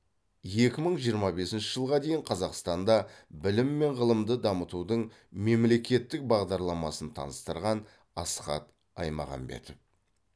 екі мың жиырма бесінші жылға дейін қазақстанда білім мен ғылымды дамытудың мемлекеттік бағдарламасын таныстырған асхат аймағамбетов